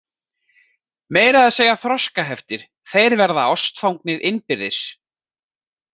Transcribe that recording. Meira að segja þroskaheftir, þeir verða ástfangnir innbyrðis!